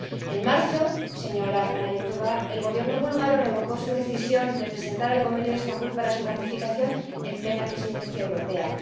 En marzo, señora Panayotova, el Gobierno búlgaro revocó su decisión de presentar el Convenio de Estambul para su ratificación en plena Presidencia europea.